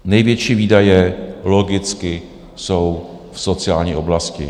Největší výdaje logicky jsou v sociální oblasti.